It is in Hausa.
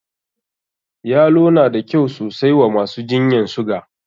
Yalo na da kyau sosai wa masu jinyan suga.